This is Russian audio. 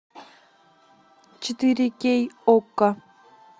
четыре кей окко